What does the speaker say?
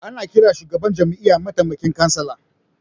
Ana ƙiran shugaban jami'a matamaikin kansila